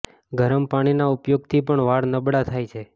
ગરમ પાણી ના ઉપયોગ થી પણ વાળ નબળા થાય છે